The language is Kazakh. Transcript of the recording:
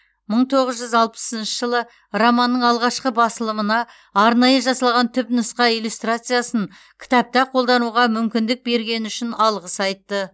мың тоғыз жүз алпысыншы жылы романның алғашқы басылымына арнайы жасалған түпнұсқа иллюстрациясын кітапта қолдануға мүмкіндік бергені үшін алғыс айтты